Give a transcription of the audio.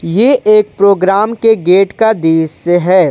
ये एक प्रोग्राम के गेट का दृश्य है।